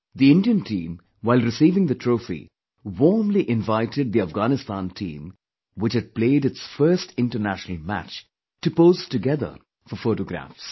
The Indian team, while receiving the trophy, warmly invited the Afghanistan team which had played its first international match to pose together for photographs